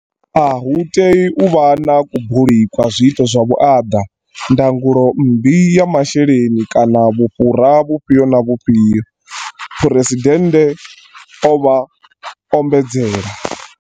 A hu tei u vha na kubuli kwa zwiito zwa vhuaḓa, ndangulo mmbi ya zwa masheleni kana vhufhura vhufhio na vhufhio, Phresidennde vha ombedzela.